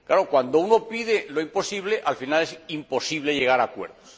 Claro, cuando uno pide lo imposible, al final es imposible llegar a acuerdos.